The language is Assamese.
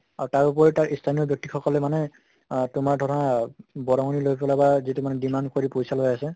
আ তাৰ ওপৰিও তাৰ স্থানীয় ব্য়ক্তি সকলে মানে আহ তোমাৰ ধৰা বৰংনি লৈ পালে বা যিটো মানে demand কৰি পইছা লৈ আছে